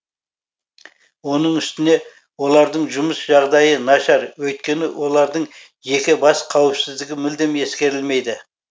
оның үстіне олардың жұмыс жағдайы нашар өйткені олардың жеке бас қауіпсіздігі мүлдем ескерілмейді